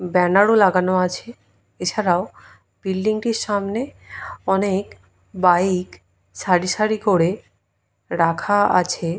ব্যানারো লাগানো আছে এছাড়াও বিল্ডিং টির সামনে অনেক বাইক সারি সারি করে রাখা আছে।